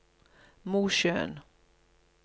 Mosjøen